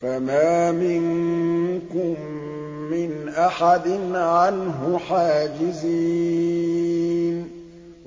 فَمَا مِنكُم مِّنْ أَحَدٍ عَنْهُ حَاجِزِينَ